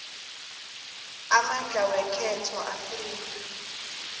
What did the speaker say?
amandla wekhotho afika